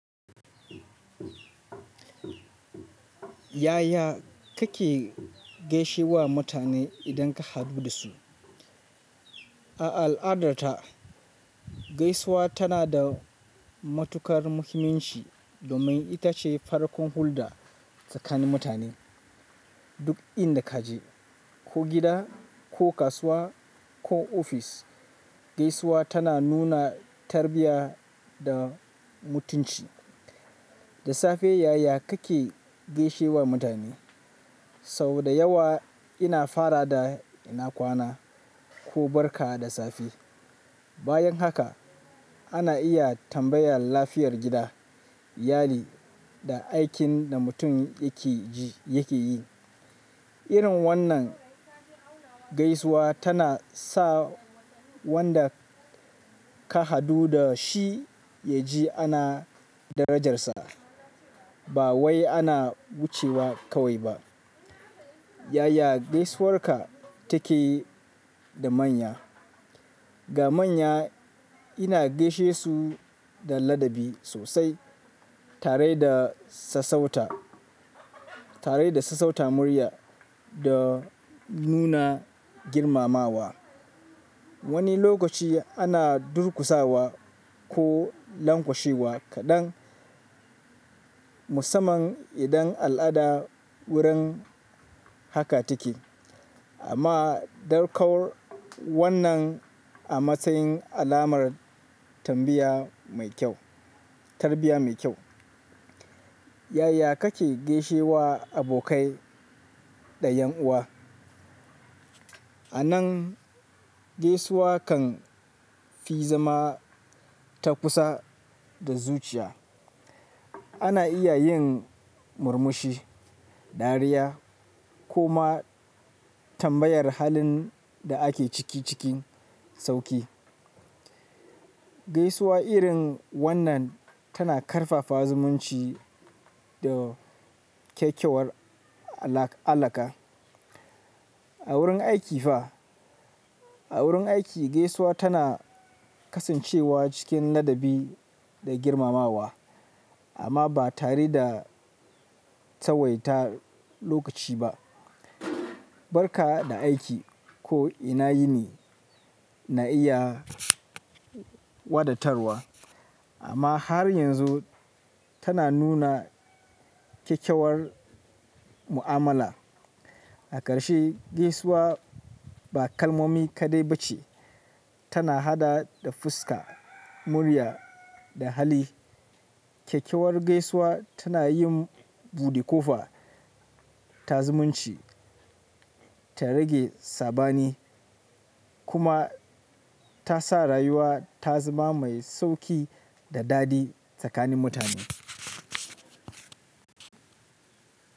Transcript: Yaya kake gaishe wa mutane idan ka haɗu da su? A al'adarta, gaisuwa tana da matukar muhimmanci domin ita ce farkon hulɗa tsakanin mutane. Duk inda ka je, ko gida, ko kasuwa, ko ofis, gaisuwa tana nuna tarbiyya da mutunci. Da safe, yaya kake gaishe wa mutane? Sau da yawa ina fara da ina kwana ko barka da safe. Bayan haka ana iya tambayar lafiyar gida, yali da aikin da mutum yake yi. Irin wannan gaisuwa tana sa wanda ka haɗu da shi ya ji ana darajarsa ba wai ana wucewa kawai ba. Yaya gaisuwar ka take da manya? Ga manya ina gaishe su da ladabi sosai tare da sassauta murya da nuna girmamawa. Wani lokaci ana durkusawa ko langwashewa kaɗan musamman idan al'ada wurin haka take, amma darƙar wannan a matsayin alamar tarbiyya mai kyau. Yaya kake gaishe wa abokai da yan uwa? Anan gaisuwa kan fi zama ta kusa da zuciya. Ana iya yin murmushi, dariya ko ma tambayar halin da ake ciki sauƙi. Gaisuwa irin wannan tana ƙarfafa zumunci da kyakkyawar alaƙa. A wurin aiki fa, gaisuwa tana kasancewa cikin ladabi da girmamawa amma ba tare da tsawaita lokaci ba. Barka da aiki ko ina yini na iya wadatarwa amma har yanzu tana nuna kyakkyawar mu'amala. A ƙarshe, gaisuwa ba kalmomi kaɗai ba ce, tana haɗa da fuska, murya da hali. Kyakkyawar gaisuwa tana yin buɗe kofa ta zumunci, ta rage sabani kuma ta sa rayuwa ta zama mai sauƙi da daɗi tsakanin mutane.